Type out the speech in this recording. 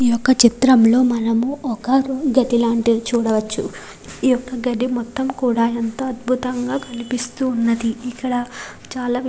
ఈ యొక్క చిత్రంలో మనము ఒక గది లాంటిది చూడవచ్చు ఈ యొక్క గది కూడా ఎంతో అద్భుతంగా కనిపిస్తూ ఉన్నది ఇక్కడ చాలా --